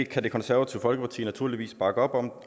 kan det konservative folkeparti naturligvis bakke op om